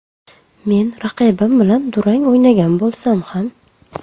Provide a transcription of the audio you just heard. Men raqibim bilan durang o‘ynagan bo‘lsam ham”.